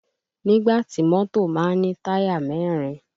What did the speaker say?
Nígbà tí mọ́tò má ń ní táyà mẹ́rin